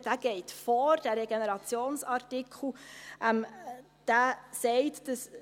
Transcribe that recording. Dieser Regenerationsartikel geht vor.